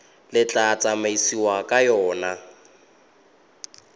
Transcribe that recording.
le tla tsamaisiwang ka yona